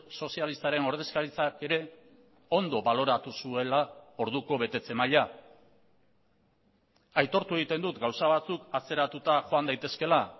sozialistaren ordezkaritzak ere ondo baloratu zuela orduko betetze maila aitortu egiten dut gauza batzuk atzeratuta joan daitezkeela